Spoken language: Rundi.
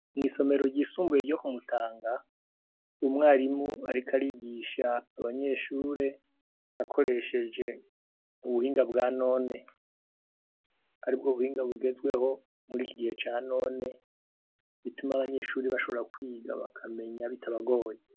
Mw'isomero ryisumbuye ryo ku mutanga umwarimu ariko arigisha abanyeshure akoresheje ubuhinga bwa none , aribwo buhinga bugezweho muriki gihe ca none bituma abanyeshure bashobora kwiga bakamenya bitabagoye.